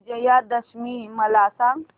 विजयादशमी मला सांग